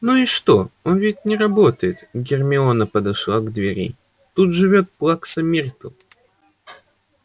ну и что он ведь не работает гермиона подошла к двери тут живёт плакса миртл